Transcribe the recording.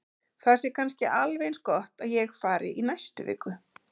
Það sé kannski alveg eins gott að ég fari í næstu viku.